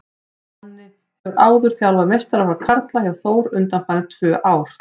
Donni hefur áður þjálfað meistaraflokk karla hjá Þór undanfarin tvö ár.